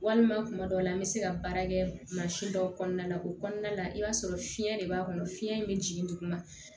Walima tuma dɔw la an bɛ se ka baara kɛ mansin dɔw kɔnɔna la o kɔnɔna la i b'a sɔrɔ fiɲɛ de b'a kɔnɔ fiɲɛ in bɛ jigin duguma